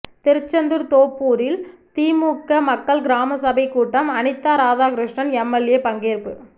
திருச்செந்தூர் தோப்பூரில் திமுக மக்கள் கிராம சபை கூட்டம் அனிதா ராதாகிருஷ்ணன் எம்எல்ஏ பங்கேற்பு